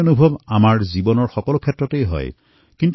ঠিক সেয়াই জীৱনৰ প্ৰতিটো ক্ষেত্ৰতে আমাৰ অনুভৱ হয়